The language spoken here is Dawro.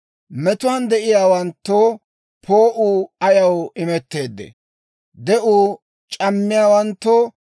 «Metuwaan de'iyaawanttoo poo'uu ayaw imetteedee? De'uu c'ammiyaawanttoo,